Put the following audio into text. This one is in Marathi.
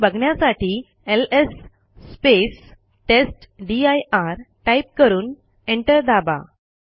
हे बघण्यासाठी एलएस टेस्टदीर टाईप करून एंटर दाबा